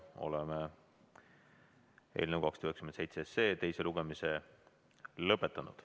Oleme eelnõu 297 teise lugemise lõpetanud.